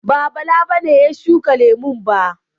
Ba, Bala ne ya shuka lemu ba?